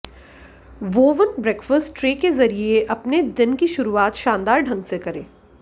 woven breakfast tray के जरिए अपने दिन की शुरुआत शानदार ढंग से करें